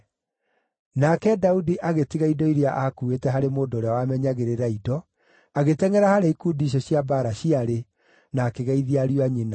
Nake Daudi agĩtiga indo iria aakuuĩte harĩ mũndũ ũrĩa wamenyagĩrĩra indo, agĩtengʼera harĩa ikundi icio cia mbaara ciarĩ na akĩgeithia ariũ a nyina.